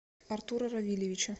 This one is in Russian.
артура равильевича